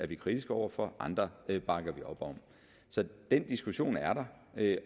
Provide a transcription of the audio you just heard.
vi kritiske over for og andre bakker vi op om så den diskussion er der